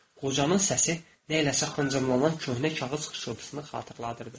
Qocanın səsi nəyləşə xıncımlanan köhnə kağız xışıltısını xatırladırdı.